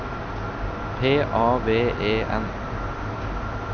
P A V E N